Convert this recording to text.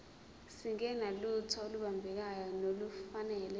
singenalutho olubambekayo nolufanele